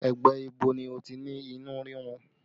Ẹ̀gbẹ́ ibo ni o ti ní inú rírun?